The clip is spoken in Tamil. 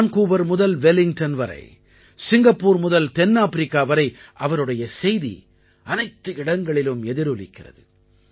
வான்கூவர் முதல் வெல்லிங்டன் வரை சிங்கப்பூர் முதல் தென்னாப்பிரிக்கா வரை அவருடைய செய்தி அனைத்து இடங்களிலும் எதிரொலிக்கிறது